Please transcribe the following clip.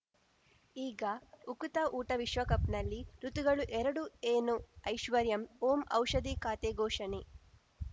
ಈಗ ಉಕುತ ಊಟ ವಿಶ್ವಕಪ್‌ನಲ್ಲಿ ಋತುಗಳು ಎರಡು ಏನು ಐಶ್ವರ್ಯಾ ಓಂ ಔಷಧಿ ಖಾತೆ ಘೋಷಣೆ